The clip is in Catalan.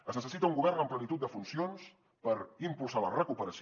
es necessita un govern en plenitud de funcions per impulsar la recuperació